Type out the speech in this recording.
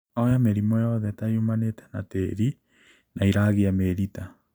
Oya mĩrimũ yothe ta yumanĩte na tĩri na ĩiragia mĩrita